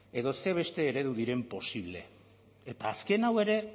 edo ze beste eredu diren posible eta azken hau ere